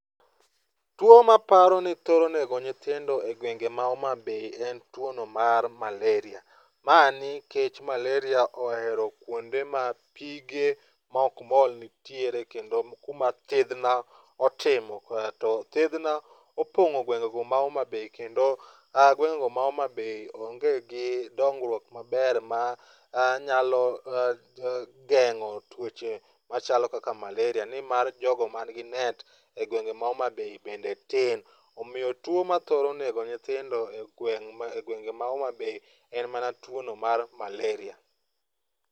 Tuwo ma aparo ni thoro nego nyithindo e gwenge ma Homabay en tuwono mar maleria, ma nikech maleria ohero kwonde ma pige ma ok mol nitiere kendo kuma thidhna otimo, to thidhna opong'o gwengego ma Homabay kendo gwengego ma Homabay onge gi dongruok maber manyalo geng'o tuoche machalo kaka maleria nimar jogo manigi net e gwenge ma Homa bay bende tin. Omiyo tuwo ma thoro nego nyithindo e gwenge ma Homabay en mana tuwono mar maleria.